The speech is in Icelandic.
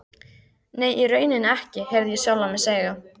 Nei, í rauninni ekki, heyrði ég sjálfan mig segja.